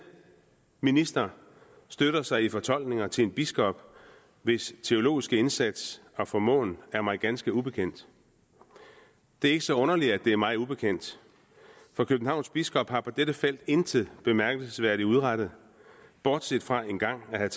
minister støtter sig i fortolkningerne til en biskop hvis teologiske indsats og formåen er mig ganske ubekendt det er ikke så underligt at det er mig ubekendt for københavns biskop har på dette felt intet bemærkelsesværdigt udrettet bortset fra engang at have